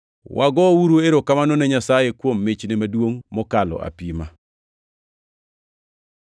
Wagouru erokamano ne Nyasaye kuom michne maduongʼ mokalo apima!